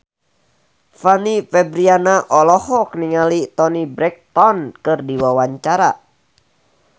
Fanny Fabriana olohok ningali Toni Brexton keur diwawancara